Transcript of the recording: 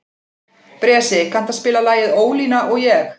Bresi, kanntu að spila lagið „Ólína og ég“?